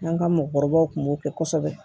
An ka mɔgɔkɔrɔbaw tun b'o kɛ kosɛbɛ